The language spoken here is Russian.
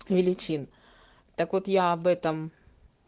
величин так вот я об этом